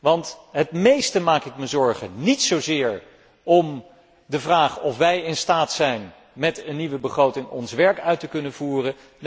Want het meest maak ik mij zorgen, niet zozeer over de vraag of wij in staat zijn met een nieuwe begroting ons werk uit te kunnen voeren.